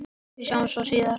Við sjáumst svo síðar.